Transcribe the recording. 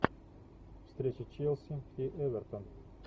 встреча челси и эвертон